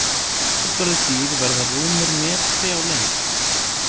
Fullorðin dýr verða rúmur metri á lengd.